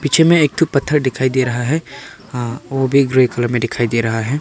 पीछे में एक तो पत्थर दिखाई दे रहा है हां वो भी ग्रे कलर में दिखाई दे रहा है।